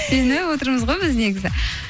сеніп отырмыз ғой біз негізі